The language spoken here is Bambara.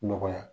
Nɔgɔya